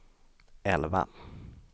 elva